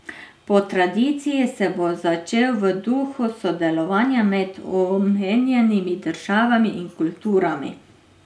Po tradiciji se bo začel v duhu sodelovanja med omenjenimi državami in kulturami.